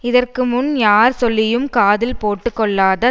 இதற்கு முன் யார் சொல்லியும் காதில் போட்டுக்கொள்ளாத